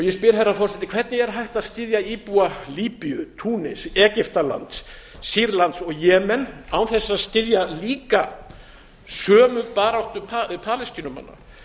ég spyr herra forseti hvernig er hægt að styðja íbúa líbíu túnis egyptalands sýrlands og jemen án þess að styðja líka sömu baráttu palestínumanna